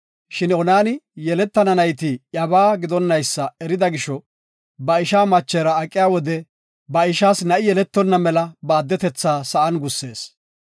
Shin Onani yeletana nayti iyabaa gidonaysa erida gisho, ba ishaa machera aqiya wode ba ishaas na7i yeletonna mela ba attunta sa7an gussees.